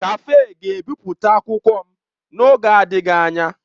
Kafe ga-ebipụta akwụkwọ m n'oge adịghị anya.